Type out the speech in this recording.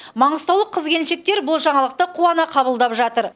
маңғыстаулық қыз келіншектер бұл жаңалықты қуана қабылдап жатыр